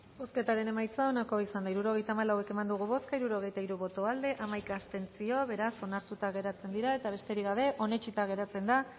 bozketaren emaitza onako izan da hirurogeita hamalau eman dugu bozka hirurogeita hiru boto aldekoa hamaika abstentzio beraz onartuta geratzen dira eta besterik gabe onetsita geratzen da